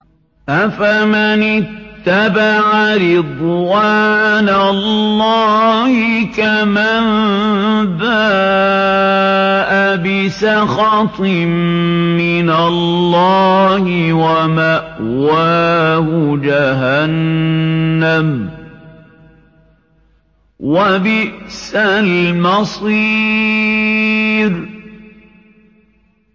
أَفَمَنِ اتَّبَعَ رِضْوَانَ اللَّهِ كَمَن بَاءَ بِسَخَطٍ مِّنَ اللَّهِ وَمَأْوَاهُ جَهَنَّمُ ۚ وَبِئْسَ الْمَصِيرُ